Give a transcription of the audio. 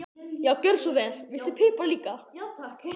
Já, gjörðu svo vel. Viltu pipar líka?